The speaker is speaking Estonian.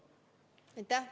Aitäh!